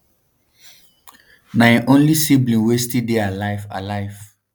na im only sibling wey still dey alive. alive.